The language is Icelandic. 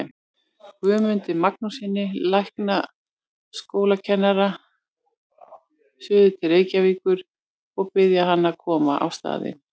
Guðmundi Magnússyni læknaskólakennara suður til Reykjavíkur og biðja hann að koma á staðinn.